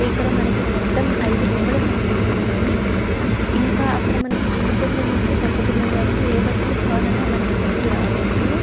ఇక్కడ మనకి మొత్తం ఐదు బొమ్మలు కనిపిస్తున్నాయి ఇంకా అక్కడ మనకి చిన్న పిల్లలనుంచి పెద్ద పిల్లల వారికి ఏ బట్టలు కావాలని మనకి ఇక్కడికి రావచ్చు--